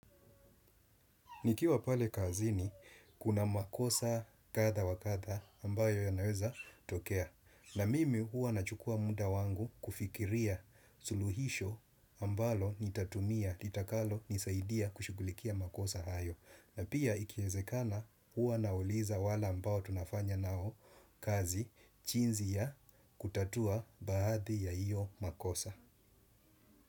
Nikiwa pale kazini, kuna makosa kadha wa kadha ambayo yanaweza tokea. Na mimi huwa nachukua muda wangu kufikiria suluhisho ambalo nitatumia, litakalonisaidia kushughulikia makosa hayo. Na pia ikiezekana huwa nauliza wale ambao tunafanya nao kazi chinzi ya kutatua baadhi ya iyo makosa.